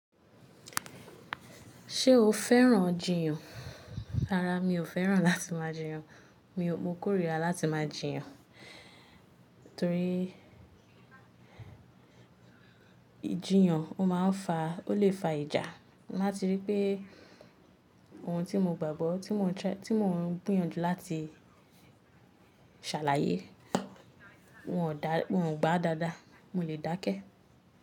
Ṣé o fẹ́ràn jiyàn? Rárá, mi ò fẹ́ràn láti máa jiyàn. Mi ò, mo kórìíra láti máa jiyàn, torí ìjiyàn ó máa ń fa, o le fa ìjà. Mati rí pé ohun tí mo gbàgbọ́, tí mò ń, tí mò ń gbìyànjú láti ṣàlàyé, wọn ò dá, wọn ò gbà dáadáa, mo le dákẹ́.